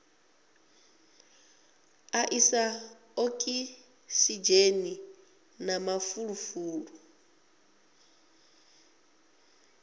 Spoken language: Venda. a isa okisidzheni na mafulufulu